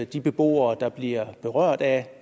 de beboere der bliver berørt af